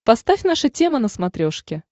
поставь наша тема на смотрешке